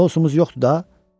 Sousumuz yoxdur da?